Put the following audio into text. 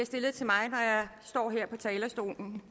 stillet til mig når jeg står her på talerstolen